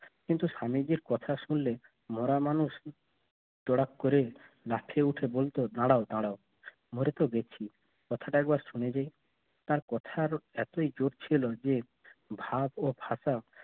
কিন্তু স্বামীজীর কথা শুনলে মরা মানুষ করে লাফিয়ে উঠে বলতে দাঁড়াও দাঁড়াও মরে তো গেছি কথাটা একবার শুনে যায় তার কথা আরো এতই জোর ছিল যে